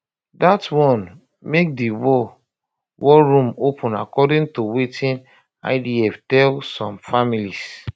dat one um make di um war um war room open according to wetin idf tell some families